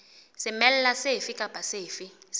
semela sefe kapa sefe se